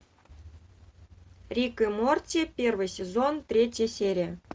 рик и морти первый сезон третья серия